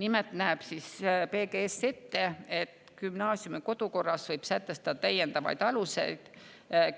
Nimelt näeb PGS ette, et gümnaasiumi kodukorras võib sätestada täiendavad alused